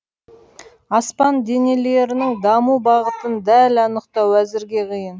аспан денелерінің даму бағытын дәл анықтау әзірге қиын